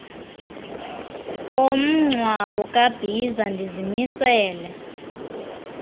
komngcwabo kabhiza ndizimisele